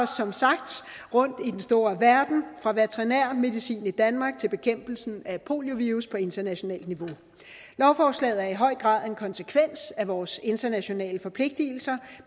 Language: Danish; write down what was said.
som sagt rundt i den store verden fra veterinær medicin i danmark til bekæmpelsen af poliovirus på internationalt niveau lovforslaget er i høj grad en konsekvens af vores internationale forpligtelser